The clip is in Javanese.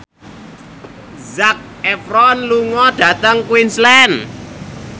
Zac Efron lunga dhateng Queensland